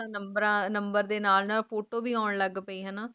number ਦੇ ਨਾਲ ਨਾਲ photo ਵੀ ਆਂ ਲਾਗ ਪੈ